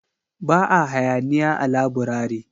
Ba a hayaniya a laburare